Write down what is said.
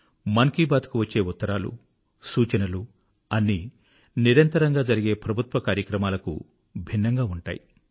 మన్ కీ బాత్ కు వచ్చే ఉత్తరాలు ఇన్పుట్ అంతా రౌటైన్ ప్రభుత్వ కార్యక్రమాలకు భిన్నంగా ఉంటుంది